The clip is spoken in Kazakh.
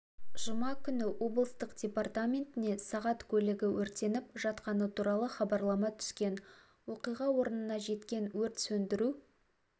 жұма күні облыстық департаментіне сағат көлігі өртеніп жатқаны туралы хабарлама түскен оқиға орнына жеткен өрт сөндіру